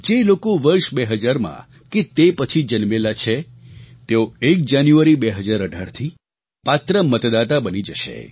જે લોકો વર્ષ 2000 માં કે તે પછી જન્મેલા છે તેઓ એક જાન્યુઆરી 2018થી પાત્ર મતદાતા બની જશે